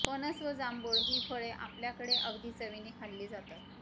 फणस व जांभूळ ही फळे आपल्याकडे अगदी चवीने खाल्ली जातात